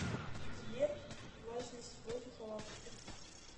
сбер важность воздуха в африке